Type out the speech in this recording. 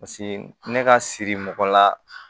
Paseke ne ka siri mɔgɔ la